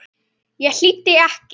Ég hlýddi ekki.